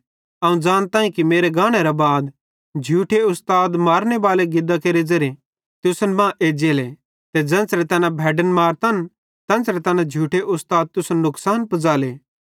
अवं ज़ानताईं कि मेरे गानेरां बाद झूठे उस्ताद मारने बालां गिदां केरे ज़ेरे तुसन मां एज्जेले ते ज़ेन्च़रे तैना भैड्डन मारतन तेन्च़रे तैना झूठे उस्ताद तुसन नुकसान पुज़ाले